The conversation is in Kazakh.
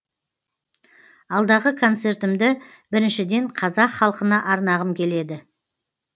алдағы концертімді біріншіден қазақ халқына арнағым келеді